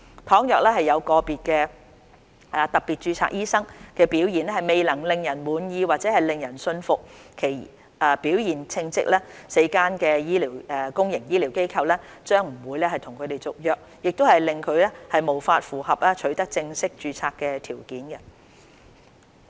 倘若有個別特別註冊醫生的表現未能令人滿意或令人信服其表現稱職 ，4 間公營醫療機構將不會跟他們續約，令其無法符合取得正式註冊的條件。